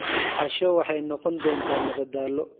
Casho waxay noqon doontaa madadaalo.